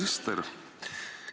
Hea minister!